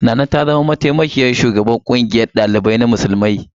Nana ta zama mataimakiyar shugabar ƙungiyar ɗalibai musulmi ta Najeriya.